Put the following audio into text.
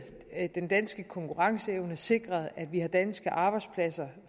den danske konkurrenceevne sikret at vi har danske arbejdspladser